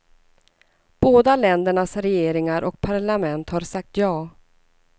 Båda ländernas regeringar och parlament har sagt ja.